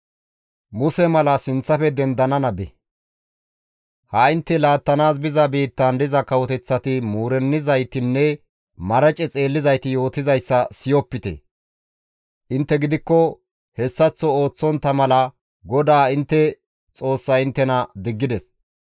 Ha intte laattanaas biza biittaan diza kawoteththati muurennizaytinne marace xeellizayti yootizayssa siyizayta. Intte gidikko hessaththo ooththontta mala GODAA intte Xoossay inttena diggides.